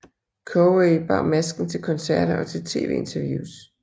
Corey bar masken til koncerter og til TV interviews